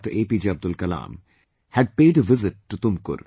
APJ Abdul Kalam had paid a visit to Tumukur